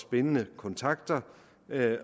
bindende kontakter